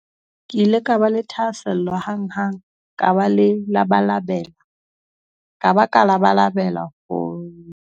"Ke ile ka ba le thahasello hanghang ka ba ka labalabela ho ba le tsebo e tomanyana," ho rialo Arendse.